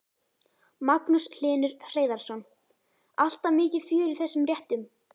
Magnús Hlynur Hreiðarsson: Alltaf mikið fjör í þessum réttum?